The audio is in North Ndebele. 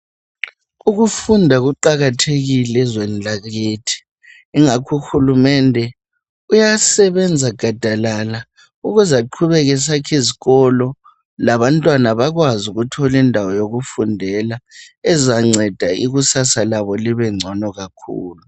Ukufunda kuqakathekile ezweni lakithi ingakho uhulumende uyasebenza gadalala ukuze aqhubeke esakhizikolo labantwana bakwazi ukuthole indawo yokufundela ezanceda ikusasa labo libengcono kakhulu.